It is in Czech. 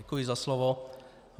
Děkuji za slovo.